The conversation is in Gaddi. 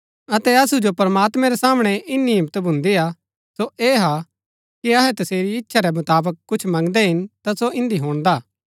अतै असु जो प्रमात्मैं रै सामणै इन्‍नी हिम्मत भून्दिआ सो ऐह हा कि अहै तसेरी इच्छा रै मुताबक कुछ मंगदै हिन ता सो इन्दी हुणदा